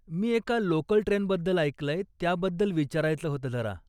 मी एका लोकल ट्रेनबद्दल ऐकलंय, त्याबद्दल विचारायचं होतं जरा.